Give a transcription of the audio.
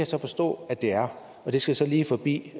så forstå at de er og det skal så lige forbi